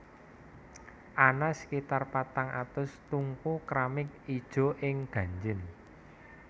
Ana sekitar patang atus tungku kramik ijo ing Gangjin